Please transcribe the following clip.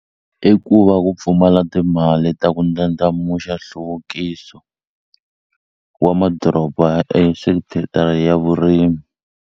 I ku va ku pfumala timali ta ku ndlandlamuxa nhluvukiso wa madoroba ya vurimi.